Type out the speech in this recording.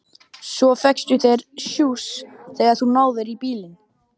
Svo fékkstu þér sjúss þegar þú náðir í bílinn.